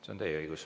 See on teie õigus.